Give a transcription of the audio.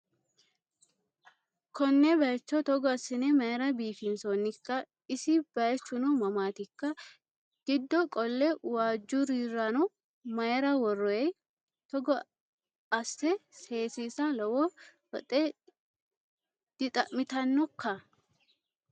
Konne bayiicho Togo assino mayiira biifinsoonnikka? Isi bayiichuno mamaatikka? Giddoo qolle waajjurirano mayiira worroyi? Togo asse seesiisa lowo woxe dixa'mitannokka?